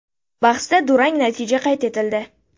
Bahsda durang natija qayd etildi.